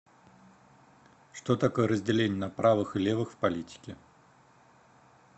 что такое разделение на правых и левых в политике